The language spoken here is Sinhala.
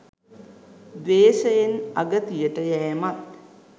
ද්වේෂයෙන් අගතියට යැමත්